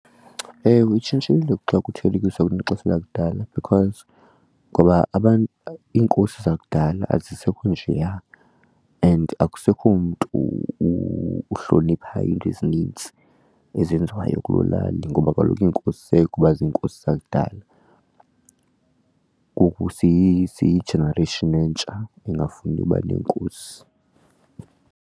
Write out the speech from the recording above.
Ewe, itshintshile xa kuthelekiswa kunexesha lakudala because ngoba abantu iinkosi zakudala azisekho njeya and akusekho mntu uhlonipha into ezinintsi ezenziwayo kuloo lali ngoba kaloku iinkosi zayeka uba ziinkosi zakudala. Ngoku siyi-generation entsha engafuni uba neenkosi.